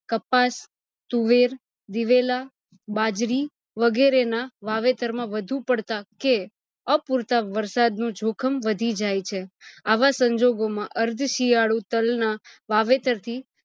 કપાસ, તુવેર, દિવેલા, બાજરી, વગેરે ના વાવેતર માં વધુ પડતા કે અપૂરતા વારસાદ નું જોખમ વ્દાધી જાય છે આવા સંજોગો માં અર્થ શિયાળુ તલ ના વાવેતર થી